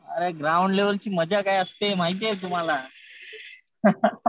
अरे ग्राउंड लेवलची मजा काय असते माहितीये तुम्हाला.